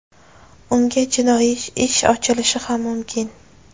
Unga jinoiy ish ochilishi ham mumkin.